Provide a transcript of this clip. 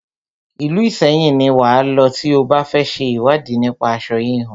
Ìlú Ìṣẹyìn ni wà á lọ tí o bá fẹ ṣe ìwádìí nípa aṣo híhun.